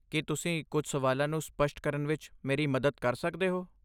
ਕੀ ਤੁਸੀਂ ਕੁਝ ਸਵਾਲਾਂ ਨੂੰ ਸਪੱਸ਼ਟ ਕਰਨ ਵਿੱਚ ਮੇਰੀ ਮਦਦ ਕਰ ਸਕਦੇ ਹੋ?